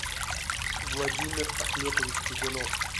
владимир ахметович чугунов